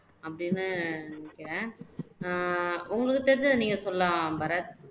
அப்படின்னு நினைக்குறேன் அஹ் உங்களுக்கு தெரிஞ்சதை நீங்க சொல்லலாம் பரத்